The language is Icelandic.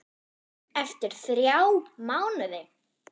Eftir þrjá mánuði?